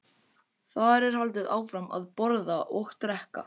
Þar er haldið áfram að borða og drekka.